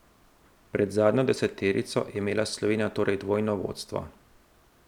Pred zadnjo deseterico je imela Slovenija torej dvojno vodstvo.